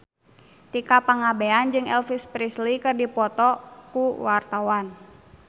Tika Pangabean jeung Elvis Presley keur dipoto ku wartawan